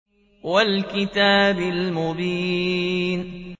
وَالْكِتَابِ الْمُبِينِ